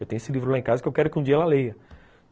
Eu tenho esse livro lá em casa que eu quero que um dia ela leia.